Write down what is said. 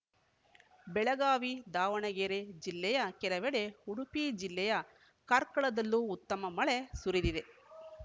ಬೆಳಗಾವಿ ದಾವಣಗೆರೆ ಜಿಲ್ಲೆಯ ಕೆಲವೆಡೆ ಉಡುಪಿ ಜಿಲ್ಲೆಯ ಕಾರ್ಕಳದಲ್ಲೂ ಉತ್ತಮ ಮಳೆ ಸುರಿದಿದೆ